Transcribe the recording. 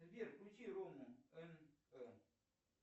сбер включи рому нп